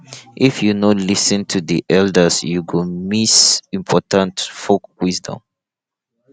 if you no lis ten to the elders you go miss important folk wisdom